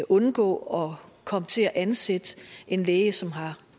undgå at komme til at ansætte en læge som